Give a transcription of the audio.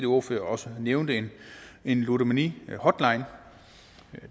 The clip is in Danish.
ordfører også nævnte en ludomanihotline